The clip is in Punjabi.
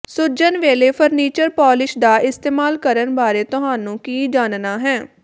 ਸੁੱਜਣ ਵੇਲੇ ਫਰਨੀਚਰ ਪੋਲਿਸ਼ ਦਾ ਇਸਤੇਮਾਲ ਕਰਨ ਬਾਰੇ ਤੁਹਾਨੂੰ ਕੀ ਜਾਣਨਾ ਹੈ